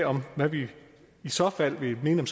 om hvad vi i så fald vil mene